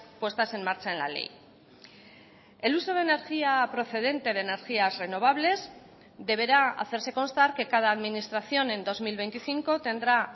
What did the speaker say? puestas en marcha en la ley el uso de energía procedente de energías renovables deberá hacerse constar que cada administración en dos mil veinticinco tendrá